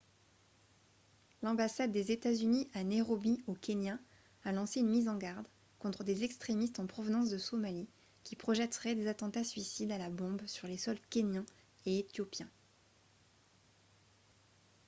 "l'ambassade des états-unis à nairobi au kenya a lancé une mise en garde contre des "extrémistes en provenance de somalie" qui projetteraient des attentats- suicides à la bombe sur les sols kényan et éthiopien.